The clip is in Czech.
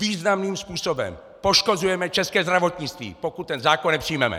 Významným způsobem poškozujeme české zdravotnictví, pokud ten zákon nepřijmeme!